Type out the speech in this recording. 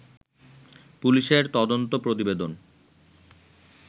পুলিশের তদন্ত প্রতিবেদন